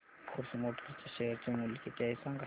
force Motors च्या share चे मूल्य किती आहे सांगा